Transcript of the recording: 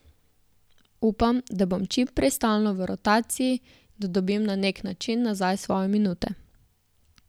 Upam, da bom čim prej stalno v rotaciji, da dobim na neki način nazaj svoje minute.